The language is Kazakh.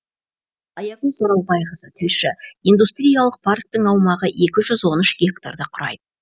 аягөз оралбайқызы тілші индустриялық парктің аумағы екі жүз он үш гектарды құрайды